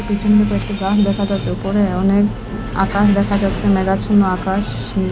পেছনে কয়েকটি গাছ দেখা যাচ্ছে ওপরে অনেক আকাশ দেখা যাচ্ছে মেঘাচ্ছন্ন আকাশ নীল--